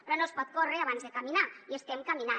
però no es pot córrer abans de caminar i estem caminant